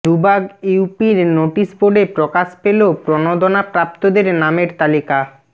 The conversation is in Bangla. দুবাগ ইউপির নোটিশ বোর্ডে প্রকাশ পেলো প্রণোদনা প্রাপ্তদের নামের তালিকা